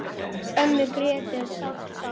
Ömmu Grétu er sárt saknað.